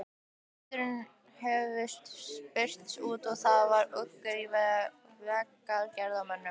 Fundirnir höfðu spurst út og það var uggur í vegagerðarmönnum.